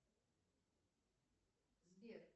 сбер